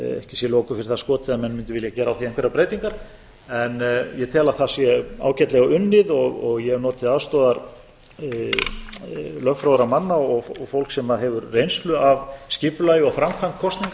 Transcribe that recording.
sé loku fyrir það skotið að menn mundu vilja gera á því einhverjar breytingar en ég tel að það sé ágætlega unnið ég hef notið aðstoðar lögfróðra manna og fólks sem hefur reynslu af skipulagi og framkvæmd kosninga